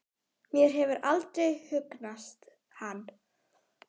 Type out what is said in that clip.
Mér hefur aldrei hugnast hann.